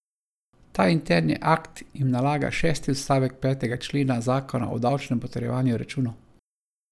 Ta interni akt jim nalaga šesti odstavek petega člena zakona o davčnem potrjevanju računov.